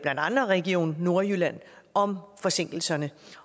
andet region nordjylland om forsinkelserne